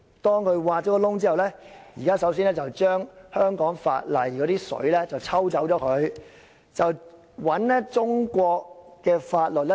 當挖了這個"洞"後，首先將香港法例的"水"抽走，再注入中國法律。